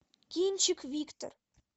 кинчик виктор